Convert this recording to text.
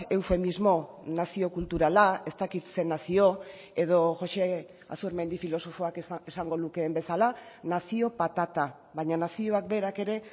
eufemismo nazio kulturala ez dakit ze nazio edo jose azurmendi filosofoak esango lukeen bezala nazio patata baina nazioak berak ere